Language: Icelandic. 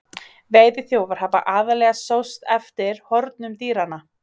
Veiðiþjófar hafa aðallega sóst eftir hornum dýranna.